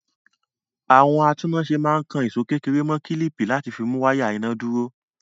Àwọn atúnnáṣe máa ń kan ìṣó kékeré mọ́ kílíìpì láti fi mú wáyà iná dúró.